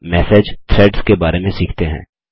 अब message threads के बारे में सीखते हैं